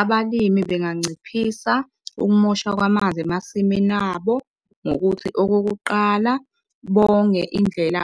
Abalimi benganciphisa ukumoshwa kwamanzi emasimini abo ngokuthi okokuqala bonge indlela